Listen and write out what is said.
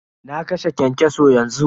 Na kashe kyankyaso yanzu.